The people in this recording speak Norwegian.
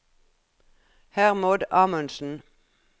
Hermod Amundsen